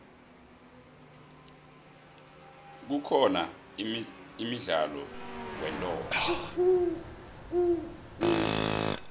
kukhona imdlalo weentonga